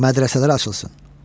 Mədrəsələr açılsın.